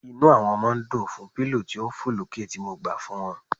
Inú àwọn ọmọ dùn fún pillow tí ń fọ̀ lókè tí mo gbà fún wọn.